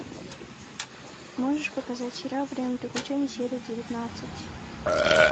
можешь показать сериал время приключений серия девятнадцать